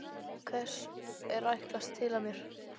Hvers er ætlast til af mér?